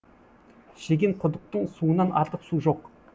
шеген құдықтың суынан артық су жоқ